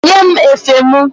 Nye m efe mụ!